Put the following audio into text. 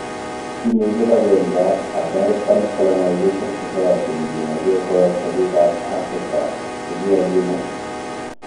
Kimii Kibagenge ab American Colonization Society negimoche Koweg'ta biik ab Afrika chegigagimuut.